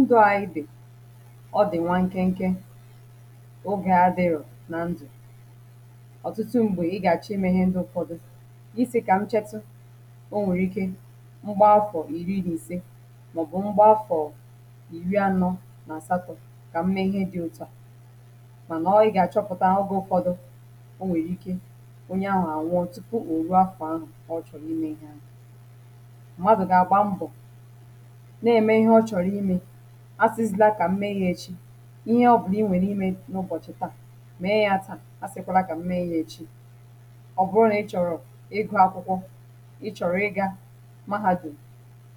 ndụ̇ àyị dị̀ ọ dị̀ nwȧ nkẹ nkẹ ogè adịrọ̀ nà ndụ̀ ọ̀tụtụ m̀gbè ị gà-àchọ ime ihe ndụ ụfọdụ isė kà m chẹtẹ o nwèrè ike mgbaafọ̀ ìriri nà ìse màọ̀bụ̀ mgbaafọ̀ ìri anọ nà àsatọ̇ kà m mee ihe dị̇ òtù a mànà ọọ ị gà-àchọpụ̀ta aghọghị ụfọdụ o nwèrè ike onye anwụ ànwụọ̀ tupu ò ruakwà ahụ̀ ọ chọ̀rọ̀ ime ihe ȧṅụ̀ asịsili a kà m mee ya echi ihe ọ bụrụ inwè n’ime n’ụbọ̀chị̀ taà mee ya taà, asịkwala kà m mee ya echi ọ bụrụ nà ị chọ̀rọ̀ ịgụ̇ akwụkwọ ị chọ̀rọ̀ ịgȧ ma ha jù